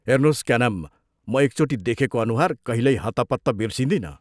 हेर्नोस्, क्या नाम म एकचोटि देखेको अनुहार कहिल्यै हत्तपत्त बिर्सदिनँ।